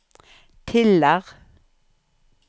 Tiller